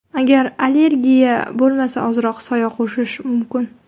Agar allergiya bo‘lmasa, ozroq soya qo‘shish mumkin.